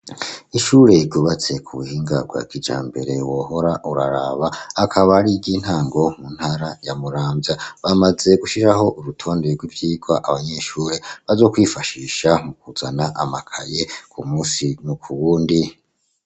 Ishure yigubatse ku buhinga rwakija mbere wohora uraraba akaba ari iryointango mu ntara yamuramvya bamaze gushishaho urutonde rw'ivyirwa abanyeshure bajo kwifashisha mu kuzana amakaye ku musi nuku wundi.